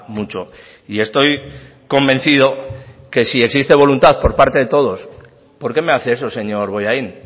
mucho y estoy convencido que si existe voluntad por parte de todos por qué me hace eso señor bollain